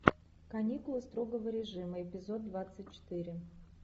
каникулы строгого режима эпизод двадцать четыре